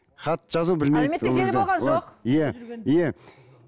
хат жазу білмейді әлеуметтік желі болған жоқ иә иә